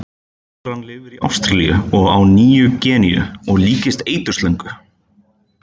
Naðran lifir í Ástralíu og á Nýju-Gíneu og líkist eiturslöngu.